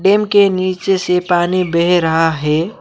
Dam के नीचे से पानी बह रहा है।